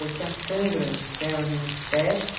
Eu tinha cãibra nas pernas e nos pés.